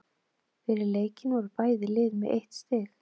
Fyrir leikinn voru bæði lið með eitt stig.